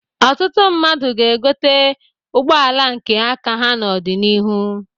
Ọtụtụ mmadụ ga-egote ụgbọala nke aka ha n'ọdịnihu.